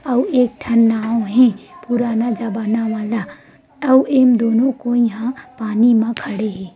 अउ एक ठन नाव हे पुराना जबाना वाला अउ ए म दोनों कोई ह पानी म खड़े हे।